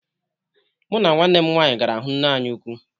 Mu na nwanne m nwaanyi gara hụ nne anyị ụkwụ